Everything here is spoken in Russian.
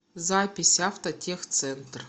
запись автотехцентр